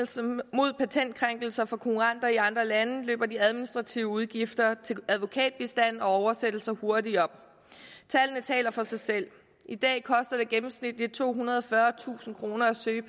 mod patentkrænkelser fra konkurrenter i andre lande løber de administrative udgifter til advokatbistand og oversættelser hurtigt op tallene taler for sig selv i dag koster det gennemsnitligt tohundrede og fyrretusind kroner at søge